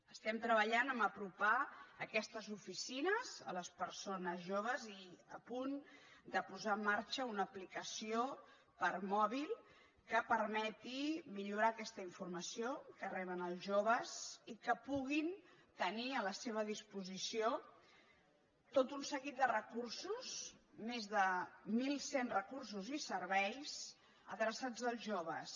estem treballant per apropar aquestes oficines a les persones joves i a punt de posar en marxa una aplicació per a mòbil que permeti millorar aquesta informació que reben els joves i que puguin tenir a la seva disposició tot un seguit de recursos més de mil cent recursos i serveis adreçats als joves